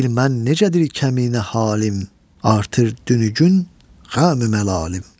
Bilmmən necədir kəminə halım, artır günü-gün qəmü-məlalım.